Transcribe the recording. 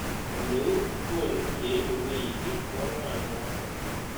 Ole uu ko konu ye ilikui kiy ko ng'wan mokto